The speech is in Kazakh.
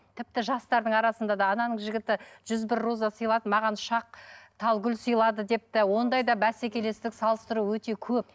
тіпті жастардың арасында да ананың жігіті жүз бір роза сыйлады маған үш ақ тал гүл сыйлады деп те ондай да бәсекелестік салыстыру өте көп